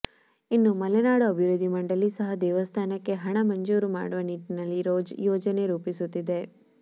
ಇನ್ನು ಮಲೆನಾಡು ಅಭಿವೃದ್ಧಿ ಮಂಡಳಿ ಸಹ ದೇವಸ್ಥಾನಕ್ಕೆ ಹಣ ಮಂಜೂರು ಮಾಡುವ ನಿಟ್ಟಿನಲ್ಲಿ ಯೋಜನೆ ರೂಪಿಸುತ್ತಿದೆ